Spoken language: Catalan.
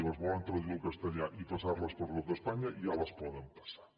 si les volen traduir al castellà i passar les per tot espanya ja les poden passar